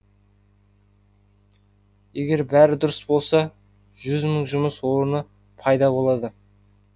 егер бәрі дұрыс болса жүз мың жұмыс орны пайда болады